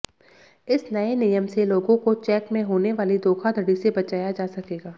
इस नए नियम से लोगों को चेक में होने वाली धोखाधड़ी से बचाया जा सकेगा